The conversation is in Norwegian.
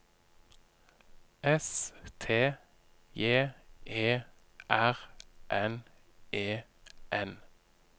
S T J E R N E N